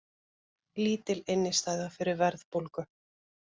Lítil innistæða fyrir verðbólgu